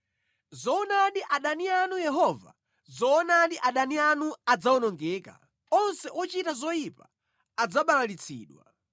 Zoonadi adani anu Yehova, zoonadi adani anu adzawonongeka; onse ochita zoyipa adzabalalitsidwa.